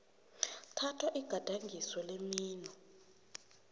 thathwa igadangiso lemino